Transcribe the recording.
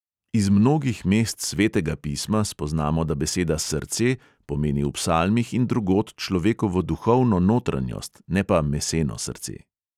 Iz mnogih mest svetega pisma spoznamo, da beseda "srce" pomeni v psalmih in drugod človekovo duhovno notranjost, ne pa meseno srce.